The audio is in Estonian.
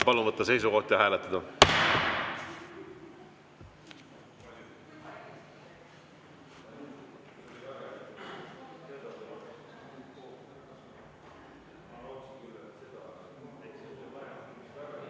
Palun võtta seisukoht ja hääletada!